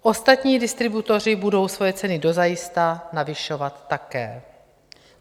Ostatní distributoři budou svoje ceny dozajista navyšovat také.